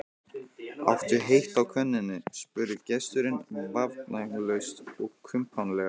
Áttu heitt á könnunni? spurði gesturinn vafningalaust og kumpánlega.